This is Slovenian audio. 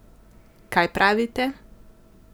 Kaj pravite?